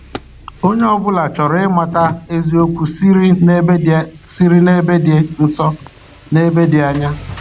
Onye ọ bụla chọrọ ịmata eziokwu siri n'ebe dị siri n'ebe dị nso na ebe dị anya.